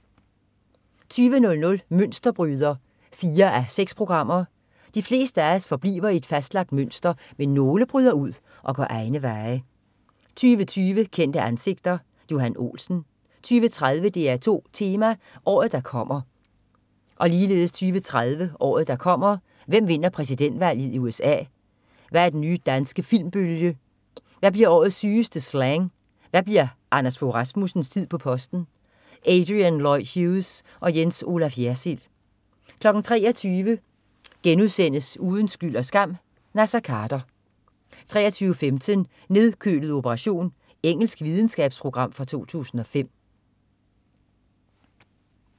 20.00 Mønsterbryder 4:6. De fleste af os forbliver i et fastlagt mønster, men nogle bryder ud og går egne veje 20.20 Kendte ansigter. Johan Olsen 20.30 DR2 Tema: Året der kommer 20.30 Året der kommer. Hvem vinder præsidentvalget i USA, hvad er den nye danske filmbølge, hvad bliver årets sygeste slang, og bliver Anders Fogh på posten? Adrian Lloyd Hughes og Jens Olaf Jersild 23.00 Uden skyld og skam: Naser Khader* 23.15 Nedkølet operation. Engelsk videnskabsprogram fra 2005